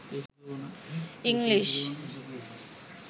English